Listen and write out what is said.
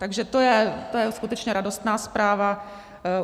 Takže to je skutečně radostná zpráva.